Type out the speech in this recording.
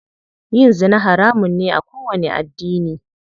Yin zina haramun ne a kowanni addini.